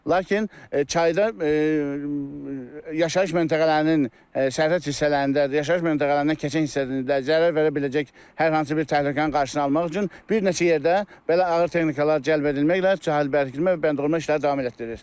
Lakin çayda yaşayış məntəqələrinin səhət hissələrində, yaşayış məntəqələrinin keçən hissəsində zərər verə biləcək hər hansı bir təhlükənin qarşısını almaq üçün bir neçə yerdə belə ağır texnikalar cəlb edilməklə sahildə bərkitmə və bəndəbəndə işləri davam etdirilir.